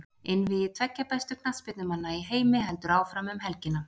Einvígi tveggja bestu knattspyrnumanna í heimi heldur áfram um helgina.